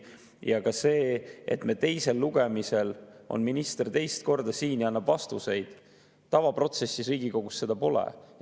Ja ka seda, et teisel lugemisel on minister teist korda siin ja annab vastuseid, tavaprotsessis Riigikogus pole.